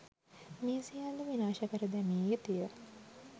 මේ සියල්ල විනාශ කර දැමිය යුතුය